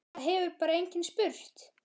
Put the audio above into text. Það hefur bara enginn spurt